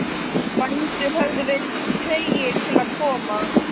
Bændur höfðu verið tregir til að koma.